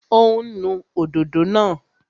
Ó ń nu òdòdó náà